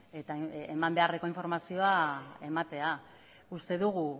eta eman beharreko informazioa ematea uste dugu